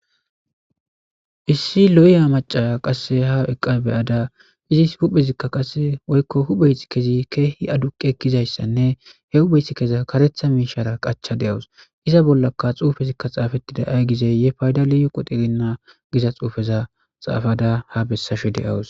issi lo7ya macaya qasse ha eqqa beyada izis huphezikka qasse woykko hupheyt kezi keehi aduqe ekizayssanne he hubheyth keza karetha miishara qacha de7awus iza bollaka xuufezikka xaafettida aygizeyye payda liyu qoterinna giza xuufeza xaafada ha bessashe deyawus